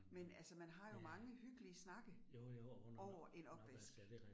Men altså man har jo mange hyggelige snakke over en opvask